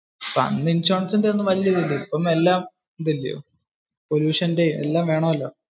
പണ്ട് ഇൻഷുറൻസിന്റെ ഒന്നും വലിയ ഇതിൽ ഇല്ലാലോ. ഇപ്പോ എല്ലാം ഇത് അല്ലെ. pollutionte എല്ലാം വേണല്ലോ.